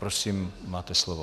Prosím, máte slovo.